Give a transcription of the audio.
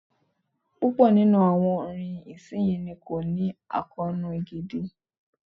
Púpọ̀ nínú àwọn orin ìsinyìí ni kò ní àkóónú gidi.